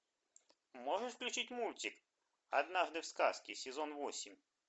можешь включить мультик однажды в сказке сезон восемь